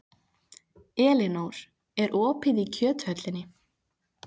Elinór, er opið í Kjöthöllinni?